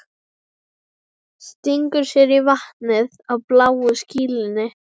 Stingur sér í vatnið á bláu skýlunni.